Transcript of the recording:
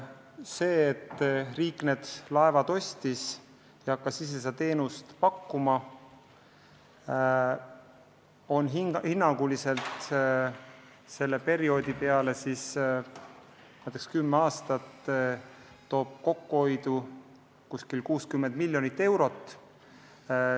See, et riik need laevad ostis ja hakkas ise seda teenust pakkuma, toob hinnanguliselt kümne aastaga kokkuhoidu 60 miljonit eurot.